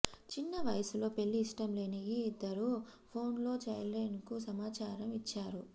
చిన్న వయస్సులో పెళ్ళి ఇష్టం లేని ఈ ఇద్దరూ ఫోన్లో చైల్డ్లైన్కు సమాచారం ఇచ్చారు